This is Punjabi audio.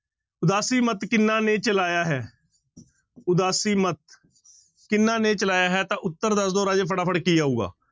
ਉਦਾਸੀ ਮੱਤ ਕਿਹਨਾਂ ਨੇ ਚਲਾਇਆ ਹੈ ਉਦਾਸੀ ਮੱਤ ਕਿਹਨਾਂ ਨੇ ਚਲਾਇਆ ਹੈ ਤਾਂ ਉੱਤਰ ਦੱਸ ਦਿਓ ਰਾਜੇ ਫਟਾਫਟ ਕੀ ਆਊਗਾ।